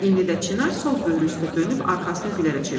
İndi də Çinar sol böyrü üstə dönüb arxasını Gülərə çevirdi.